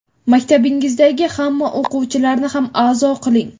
maktabingizdagi hamma o‘quvchilarni ham a’zo qiling.